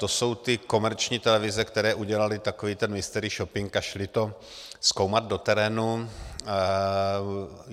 To jsou ty komerční televize, které udělaly takový ten mystery shopping a šly to zkoumat do terénu.